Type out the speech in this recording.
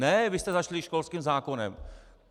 Ne, vy jste začali školským zákonem.